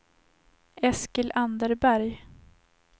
Eskil Anderberg